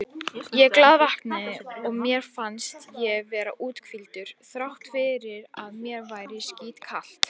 Ég glaðvaknaði og mér fannst ég vera úthvíldur þrátt fyrir að mér væri skítkalt.